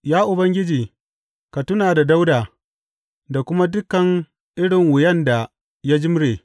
Ya Ubangiji, ka tuna da Dawuda da kuma dukan irin wuyan da ya jimre.